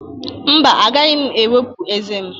Mba, agaghị m ewepụ ezé m